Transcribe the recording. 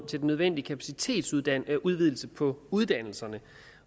til den nødvendige kapacitetsudvidelse på uddannelserne